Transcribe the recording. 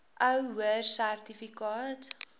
ou hoër sertifikaat